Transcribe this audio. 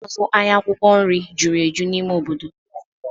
Ndị na-azụ ahịa akwụkwọ nri jụrụ eju n'ime obodo